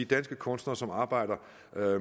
danske kunstnere som arbejder